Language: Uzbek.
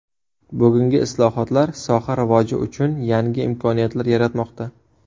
Bugungi islohotlar soha rivoji uchun yangi imkoniyatlar yaratmoqda.